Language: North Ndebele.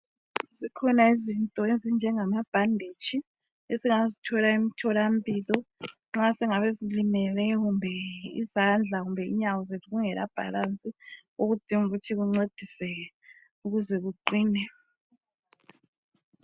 Zikhona izinto ezinjengama bhanditshi esingazithola emtholampilo nxa singabe silimele izandla kumbe inyawo zethu kungela balance okudinga ukuthi kuncediseke ukuze kuqine.